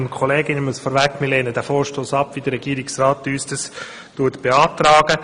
Wir lehnen den Vorstoss ab, wie uns dies der Regierungsrat beantragt.